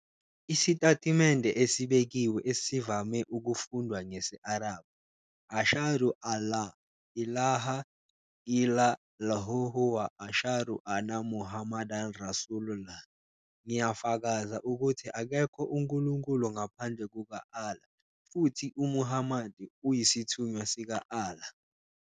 Isitatimende esibekiwe esivame ukufundwa ngesi-Arabhu. "ašhadu ʾal-lā ʾilāha ʾillā-llhuhu wa ʾašhadu ʾanna muħammadan rasūlu-llh", "Ngiyafakaza ukuthi akekho unkulunkulu ngaphandle kuka-Allah, futhi uMuhammad uyisithunywa sika-Allah.",